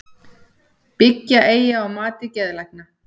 Byggja eigi á mati geðlækna